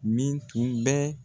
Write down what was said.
Min tun bɛ